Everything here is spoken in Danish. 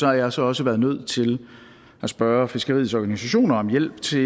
har jeg altså også været nødt til at spørge fiskeriets organisationer om hjælp til